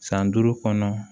San duuru kɔnɔ